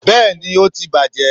bẹẹni, o tí bajé